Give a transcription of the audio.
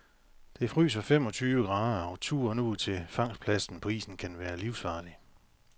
Det fryser femogtyve grader, og turen ud til fangstpladsen på isen kan være livsfarlig.